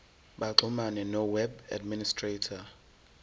baxhumane noweb administrator